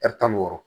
tan ni wɔɔrɔ